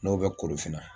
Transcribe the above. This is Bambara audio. N'o bɛ korofinna